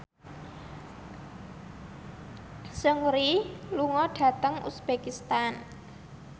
Seungri lunga dhateng uzbekistan